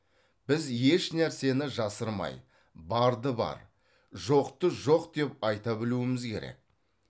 біз ешнәрсені жасырмай барды бар жоқты жоқ деп айта білуіміз керек